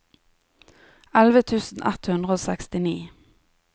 elleve tusen ett hundre og sekstini